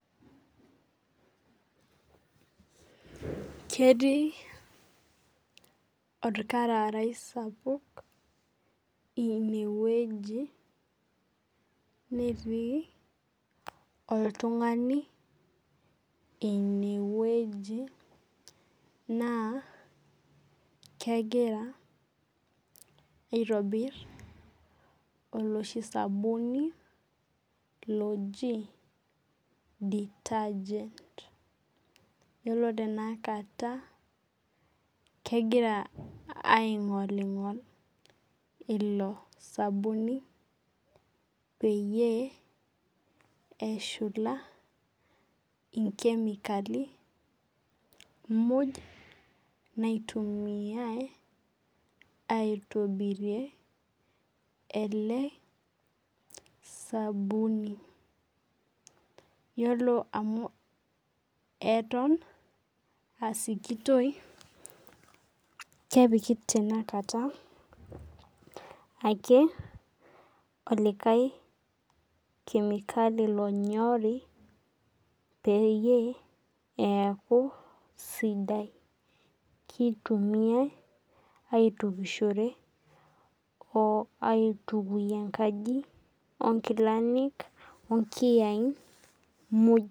Ketii olkararai sapuk ine wueji, netii oltung'ani ine wueji, naa kegira aitobir oloshi sabuni loji detergent elo tenakata kegira aing'oling'ol ilo sabuni peyie eshula inkemikali muj, naitumiyai aitobirie ele sabuni. Iyiolo amu aton aa sikitoi, kepiki ake tenakata, enkai kemikali lonyori peyie eaku sidai, keitumiyai aitukishore o aitukuyie enkaji, onkilani o nkiyaik muj.